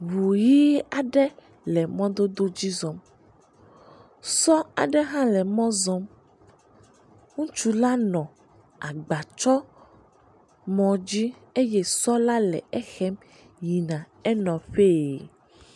Ŋu ʋi aɖe le mɔdododzi zɔm. Sɔ aɖe hã le mɔ zɔm. Ŋutsu la nɔ agba tsɔmɔ dzi eye sɔ la le ehem yina enɔƒee.